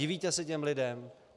Divíte se těm lidem?